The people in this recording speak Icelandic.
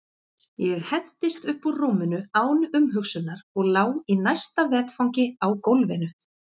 Ég hentist upp úr rúminu án umhugsunar og lá í næsta vetfangi á gólfinu.